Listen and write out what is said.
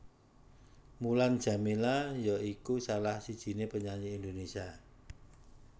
Mulan Jameela ya iku salah sijiné penyanyi Indonésia